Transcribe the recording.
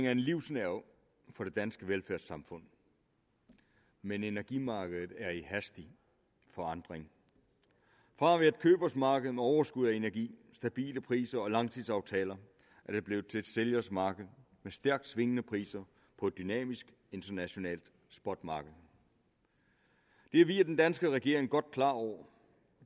er en livsnerve for det danske velfærdssamfund men energimarkedet er i hastig forandring fra at være et købers marked med overskud af energi stabile priser og langtidsaftaler er det blevet til et sælgers marked med stærkt svingende priser på et dynamisk internationalt spotmarked det er vi og den danske regering godt klar over og